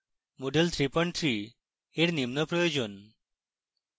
moodle 33 এর নিম্ন প্রয়োজন: